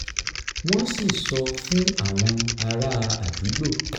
wọ́n sì sọ fún àwọn ará àdúgbò